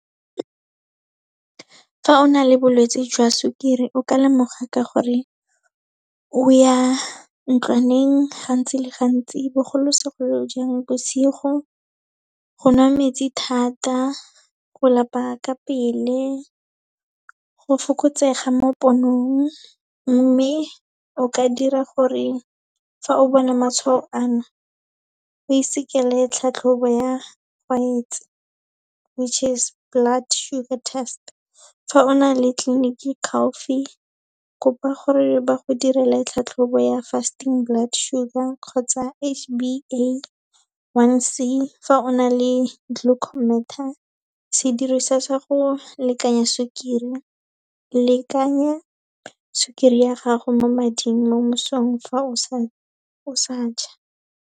Fa o na le bolwetse jwa sukiri, o ka lemoga ka gore o ya ntlwaneng gantsi le gantsi, bogolosegolojang bosigo, go nwa metsi thata, go lapa ka pele, go fokotsega mo ponong. Mme, o ka dira gore fa o bona matshwao ano, o isekele tlhatlhobo ya tshwaetso which is blood sugar test. Fa o na le tleliniki kopa gore ba go direla tlhatlhobo ya fasting blood sugar, kgotsa H_B_A one C, fa o na le glucometer, sediriswa sa go lekanya sukiri. Lekanya sukiri ya gago mo mading mo mosong fa o sa ja.